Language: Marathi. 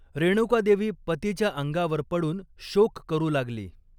रेणुकादेवी पतीच्या अंगावर पडून शोक करू लागली.